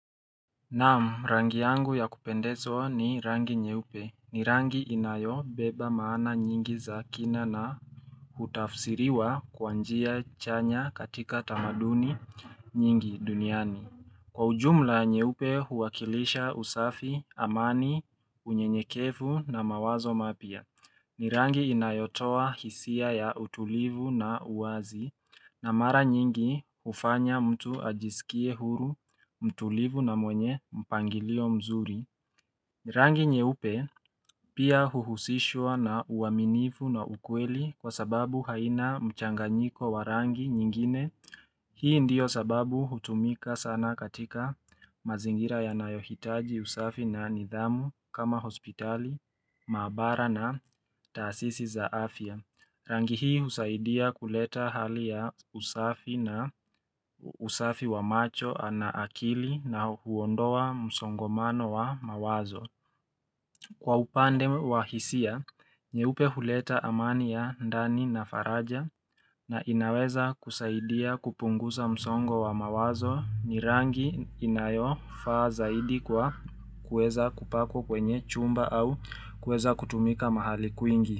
Naam rangi yangu ya kupendezwa ni rangi nyeupe ni rangi inayo beba maana nyingi za kina na hutafsiriwa kwa njia chanya katika tamaduni nyingi duniani Kwa ujumla nyeupe huwakilisha usafi amani unyenyekevu na mawazo mapya ni rangi inayotoa hisia ya utulivu na uwazi na mara nyingi hufanya mtu ajisikie huru mtulivu na mwenye mpangilio mzuri ni rangi nyeupe pia huhusishwa na uaminifu na ukweli kwa sababu haina mchanganyiko wa rangi nyingine Hii ndiyo sababu hutumika sana katika mazingira yanayohitaji usafi na nidhamu kama hospitali, mahabara na taasisi za afya. Rangi hii husaidia kuleta hali ya usafi na usafi wa macho ana akili na huondoa msongomano wa mawazo. Kwa upande wa hisia, nyeupe huleta amani ya ndani na faraja na inaweza kusaidia kupunguza msongo wa mawazo ni rangi inayo faa zaidi kwa kueza kupakwa kwenye chumba au kueza kutumika mahali kwingi.